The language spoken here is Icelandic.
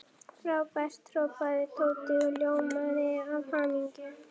Frábært hrópaði Tóti og ljómaði af hamingju.